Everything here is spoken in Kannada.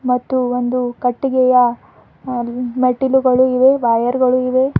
ಮತ್ತು ಒಂದು ಕಟ್ಟಿಗೆಯ ಮೆಟ್ಟಿಲುಗಳು ಇವೆ ವಯರ್ ಗಳು ಇವೆ.